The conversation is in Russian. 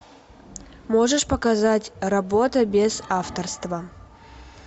можешь показать работа без авторства